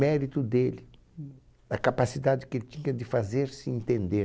mérito dele, hum, da capacidade que ele tinha de fazer-se entender.